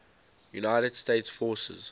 united states forces